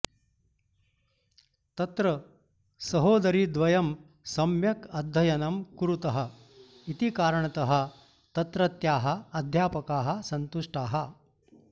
तत्र सहोदरीद्वयं सम्यक् अध्ययनं कुरुतः इति कारणतः तत्रत्याः अध्यापकाः सन्तुष्टाः